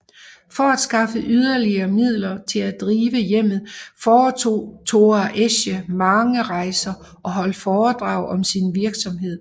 For at skaffe yderligere midler til at drive hjemmet foretog Thora Esche mange rejser og holdt foredrag om sin virksomhed